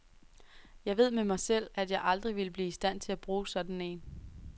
Jeg ved med mig selv, at jeg aldrig ville blive i stand til at bruge sådan en.